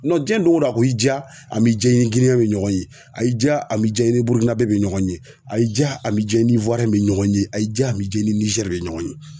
diɲɛ doŋo don a ko y'i diya a m'i ja i ni me ɲɔgɔn ye, y'i diya a m'i ja i ni be ɲɔgɔn ye, a y'i diya a m'i ja i ni be ɲɔgɔn ye, a y'i diya a m'i ja i ni Niger be ɲɔgɔn ye.